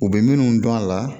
U bɛ minnu dɔn a la